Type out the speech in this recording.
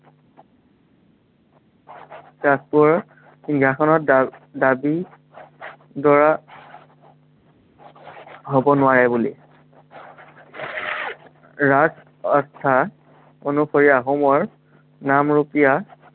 ৰাজকোঁৱৰৰ সিংহাসনৰ দা~দাবীদৰা হ'ব নোৱাৰে বুলি ৰাজ অৰ্থাত, অনুসৰি আহোমৰ, নামৰূপীয়া